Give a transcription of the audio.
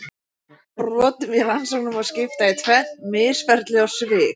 Brotum í rannsóknum má skipta í tvennt: misferli og svik.